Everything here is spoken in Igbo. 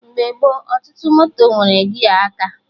Mgbe gboo, ọtụtụ moto nwere gia aka